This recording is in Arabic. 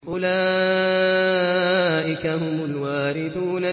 أُولَٰئِكَ هُمُ الْوَارِثُونَ